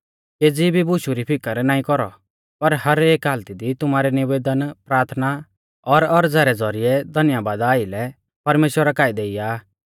केज़ी भी बुशु री फिकर नाईं कौरौ पर हर एक हालती दी तुमारै निवेदन प्राथना और औरज़ा रै ज़ौरिऐ धन्यबादा आइलै परमेश्‍वरा काऐ देईया